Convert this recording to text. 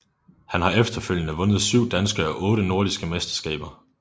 Han har efterfølgende vundet syv danske og otte nordiske mesterskaber